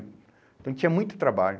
Então tinha muito trabalho.